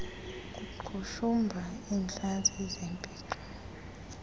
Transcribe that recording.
kuqhushumba iintlantsi zempixo